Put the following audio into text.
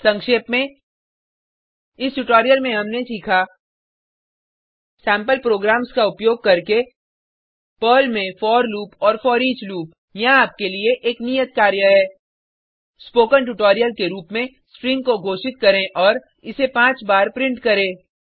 संक्षेप में इस ट्यूटोरियल में हमने सीखा सेम्पल प्रोग्राम्स का उपयोग करके पर्ल में फोर लूप और फोरिच लूप यहाँ आपके लिए एक नियत कार्य है स्पोकन ट्यूटोरियल के रुप में स्ट्रिंग को घोषित करें और इसे पाँच बार प्रिंट करें